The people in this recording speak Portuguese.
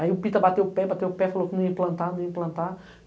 Aí o Pita bateu o pé, bateu o pé, falou que não ia implantar, não ia implantar.